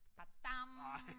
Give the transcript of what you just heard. Da dam